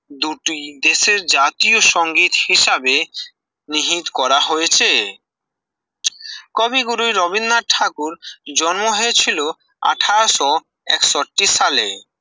দুটি দেশের জাতীয় সংগীত হিসাবে নিহিত করা হয়েছে কবিগুরু রবীন্দ্রনাথ ঠাকুর জন্ম হয়েছিল আঠাশ ও একষট্টি সালে